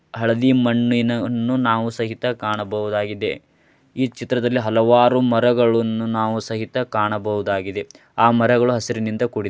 ಹಳದಿ ಮಣ್ಣಿನವನ್ನು ನಾವು ಸಹಿತ ಕಾಣಬಹುದಾಗಿದೆ ಇ ಚಿತ್ರದಲ್ಲಿ ಹಲವಾರು ಮರಗಳುನ್ನು ನಾವು ಸಹಿತ ಕಾಣಬಹುದಾಗಿದೆ ಆ ಮರಗಳು ಹಸಿರಿನಿಂದ ಕೂಡ್